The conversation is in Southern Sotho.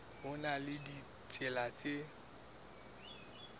ho na le ditsela tse